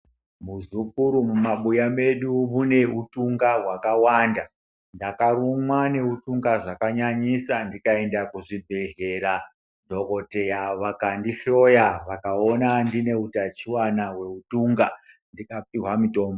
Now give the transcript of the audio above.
Muzukuru mumabuya medu muneutunga hwakawanda ndakarumwa neutunga zvakanyanyisa ndikaenda kuzvibhedhlera dhokoteya vakandihloya vakaona ndineu tachiwana hweutunga ndikapihwa mutombo